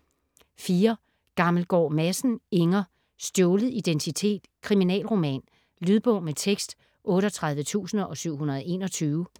Gammelgaard Madsen, Inger: Stjålet identitet: kriminalroman Lydbog med tekst 38721